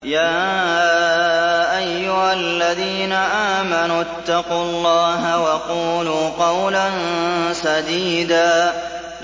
يَا أَيُّهَا الَّذِينَ آمَنُوا اتَّقُوا اللَّهَ وَقُولُوا قَوْلًا سَدِيدًا